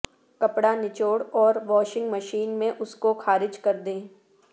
کپڑا نچوڑ اور واشنگ مشین میں اس کو خارج کر دیں